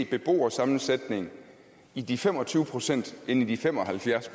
beboersammensætning i de fem og tyve procent end i de fem og halvfjerds